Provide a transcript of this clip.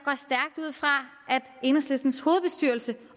enhedslistens hovedbestyrelse